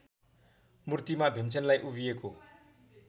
मूर्तिमा भीमसेनलाई उभिएको